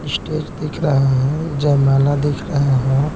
Stage दिख रहा है जयमाला दिख रहा है।